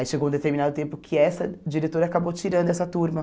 Aí chegou um determinado tempo que essa diretora acabou tirando essa turma.